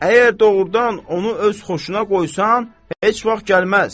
Əgər doğrudan onu öz xoşuna qoysan, heç vaxt gəlməz.